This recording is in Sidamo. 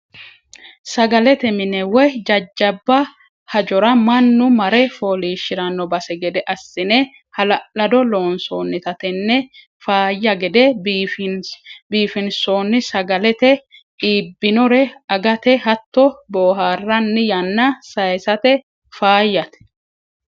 Sagalete mine woyi jajjabba hajora mannu marre fooliishshirano base gede assine hala'lado loonsonnitta tene faayya gede biifinsonni sagalate iibbinore agate hatto booharanni yanna saysate faayyate.